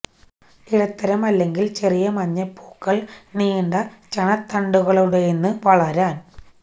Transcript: ഇടത്തരം അല്ലെങ്കിൽ ചെറിയ മഞ്ഞ പൂക്കൾ നീണ്ട ചണത്തണ്ടുകളുടെ ന് വളരാൻ